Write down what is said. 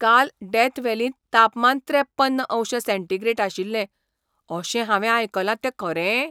काल डेथ व्हॅलींत तापमान त्रेप्पन अंश सेंटीग्रेड आशिल्लें अशें हांवें आयकलां तें खरें?